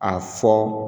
A fɔ